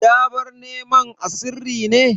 Ya bar neman a sirri ne?